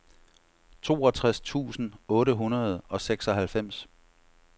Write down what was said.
toogtres tusind otte hundrede og seksoghalvfems